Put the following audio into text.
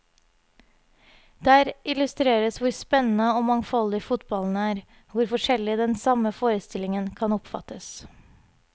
Der illustreres hvor spennende og mangfoldig fotballen er, hvor forskjellig den samme forestillingen kan oppfattes.